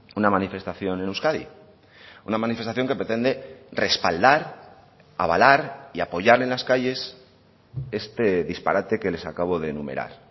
una manifestación en euskadi una manifestación que pretende respaldar avalar y apoyar en las calles este disparate que les acabo de enumerar